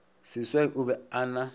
seswai o be a na